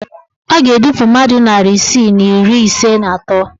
A ga-edupu mmadụ narị isii na iri ise na atọ